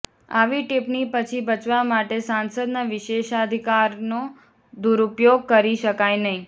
આવી ટિપ્પણી પછી બચવા માટે સાંસદના વિશેષાધિકારનો દુરુપયોગ કરી શકાય નહીં